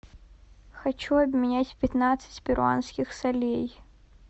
хочу обменять пятнадцать перуанских солей